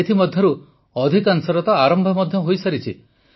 ଏଥିମଧ୍ୟରୁ ଅଧିକାଂଶର ତ ଆରମ୍ଭ ମଧ୍ୟ ହୋଇସାରିଛି